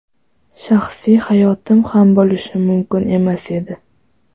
Shaxsiy hayotim ham bo‘lishi mumkin emas edi.